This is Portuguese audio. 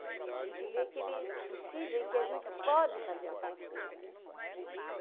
A gente vê que eles precisam e que a gente pode fazer alguma coisa, né?